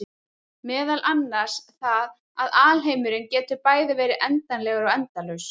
Meðal annars það að alheimurinn getur bæði verið endanlegur og endalaus.